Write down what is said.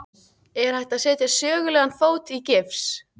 Er hægt að setja sögulegan fót í gifs?